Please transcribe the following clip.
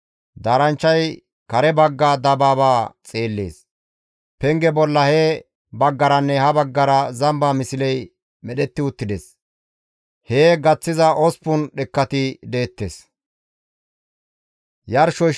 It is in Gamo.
Daaranchchay kare bagga dabaabaa xeellees. Penge bolla he baggaranne ha baggara zamba misley medhetti uttides. Hee gaththiza osppun dhekkati deettes.